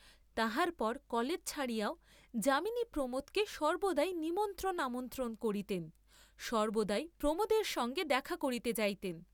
তাহার পর কলেজ ছাড়িয়াও যামিনী প্রমােদকে সর্ব্বদা নিমন্ত্রণ আমন্ত্রণ করিতেন, সর্ব্বদাই প্রমােদের সঙ্গে দেখা করিতে যাইতেন।